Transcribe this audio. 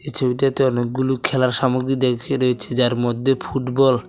ছবিটাতে অনেকগুলু খেলার সামগ্রী দেখিয়া রয়েছে যার মদ্যে ফুটবল --